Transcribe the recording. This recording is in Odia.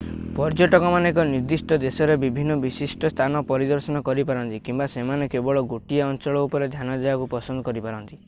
ପର୍ଯ୍ୟଟକମାନେ ଏକ ନିର୍ଦ୍ଦିଷ୍ଟ ଦେଶର ବିଭିନ୍ନ ବିଶିଷ୍ଟ ସ୍ଥାନ ପରିଦର୍ଶନ କରିପାରନ୍ତି କିମ୍ବା ସେମାନେ କେବଳ ଗୋଟିଏ ଅଞ୍ଚଳ ଉପରେ ଧ୍ୟାନ ଦେବାକୁ ପସନ୍ଦ କରିପାରନ୍ତି